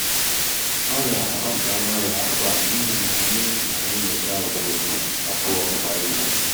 ọrịa agbasa nwayọ afọ a n’ihi na anyị na-enyocha ugboro abụọ kwa izu